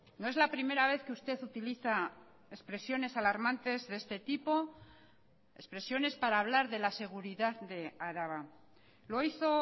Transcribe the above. no es la primera vez que usted utiliza expresiones alarmantes de este tipo expresiones para hablar de la seguridad de araba lo hizo